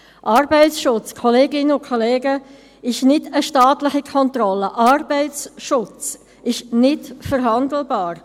Arbeitsschutz, Kolleginnen und Kollegen, ist nicht eine staatliche Kontrolle, Arbeitsschutz ist nicht verhandelbar!